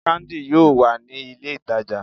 Candi, yoo wa ni ile itaja